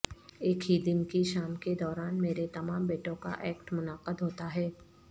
ایک ہی دن کی شام کے دوران میرے تمام بیٹوں کا ایکٹ منعقد ہوتا ہے